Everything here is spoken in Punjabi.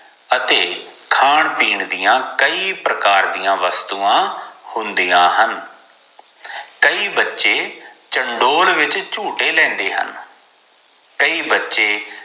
ਅਤੇ ਖਾਨ ਪਿੰਨ ਦੀਆ ਕਈ ਪ੍ਰਕਾਰ ਦੀਆ ਵਸਤੂਆਂ ਹੁੰਦੀਆਂ ਹਨ ਕਈ ਬੱਚੇ ਚੰਡੋਲ ਵਿਚ ਝੂਟੇ ਲੈਂਦੇ ਹਨ ਕਈ ਬੱਚੇ